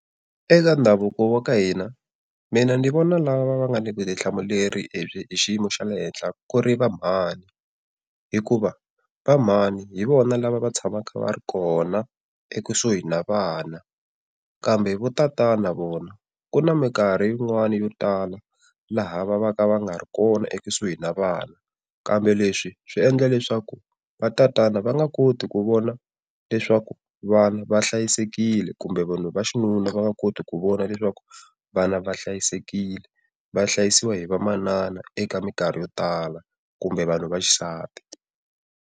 Eka ndhavuko wa ka hina, mina ni vona lava va nga na vutihlamuleri lebyi hi xiyimo xa le henhla ku ri va mhani, hikuva va mhani hi vona lava va tshamaka va ri kona ekusuhi na vana. Kambe vo tatana vona ku na mikarhi yin'wani yo tala laha va va ka va nga ri kona ekusuhi na vana, kambe leswi swi endla leswaku va tatana va nga koti ku vona leswaku vana va hlayisekile, kumbe vanhu va xinuna va nga koti ku vona leswaku vana va hlayisekile. Va hlayisiwa hi vamanana eka mikarhi yo tala kumbe vanhu vaxisati.